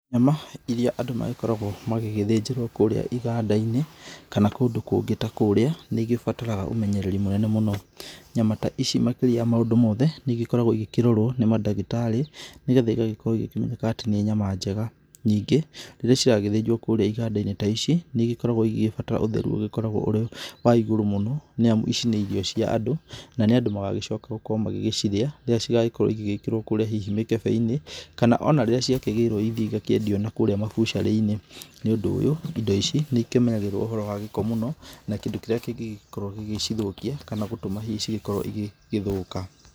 Nyama iria andũ magĩkoragwo magĩgĩthĩnjĩrwo kũrĩa iganda-inĩ, kana kũndũ kũngĩ ta kũrĩa, nĩigĩbataire ũmenyereri mũnene mũno. Nyama ta ici makĩria ya ma maũndũ mothe, nĩikoragwo igĩkĩrorwo nĩ mandagĩtarĩ nĩgetha igĩkorwo ikĩmenyeka atĩ nĩ nyama njega. Ningĩ rĩrĩa irathĩnjwo kũrĩa iganda-inĩ ta ici nĩigĩkoragwo igĩbatara ũtheru ũgĩkoragwo ũrĩ wa igũrũ mũno nĩ amu ici nĩ irio cia andũ, na nĩ andũ magagĩcoka gũkorwo magĩgĩciria rĩrĩa cigagĩkorwo igĩgĩkĩrwo hihi kũrĩa mĩkebe-inĩ kana ona rĩrĩa ciakĩgĩrwo ithiĩ cikendio nakũrĩa mabucarĩ-inĩ. Nĩ ũndũ ũyũ, indo ici nĩ ikĩmenyagĩrĩrwo ũhoro wa gĩko mũno na kĩndũ kĩrĩa kĩngĩkorwo gĩgĩcithũkia kana gũgĩtũma hihi cikorwo igĩgĩthũka.